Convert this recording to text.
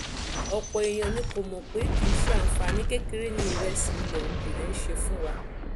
ọ̀pọ̀ èèyàn ni kò mọ̀ pé kì í ṣe àǹfààní kékeré ni ìrẹsì ilẹ̀ òkèèrè ń ṣe fún wa